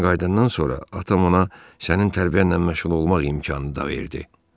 Kindən qayıdandan sonra atam ona sənin tərbiyənlə məşğul olmaq imkanını da verdi.